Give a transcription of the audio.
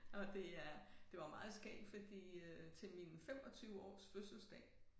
Og det er det var meget skægt fordi øh til min 25 års fødselsdag